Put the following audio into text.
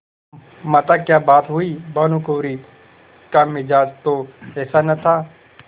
माताक्या बात हुई भानुकुँवरि का मिजाज तो ऐसा न था